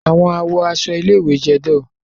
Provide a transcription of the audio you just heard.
Awọn awọ aṣọ ile-iwe jẹ dull